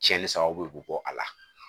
Cɛnni sababu bɛ bɔ a la